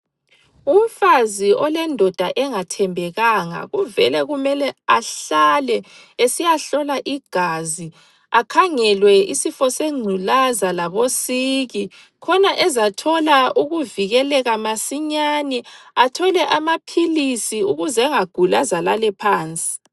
Umfazi olendoda engathembekanga uvele kumele ahlale esiyahlola igazi akhangelwe isifo sengculaza labosiki khona ezathola ukuvikeleka masinyane athole amaphilisi ukuze angaguli aze alale phansi.